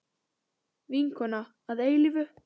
Vinkona að eilífu.